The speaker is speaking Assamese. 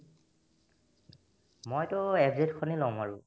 মইতো FZ খনে ল'ম আৰু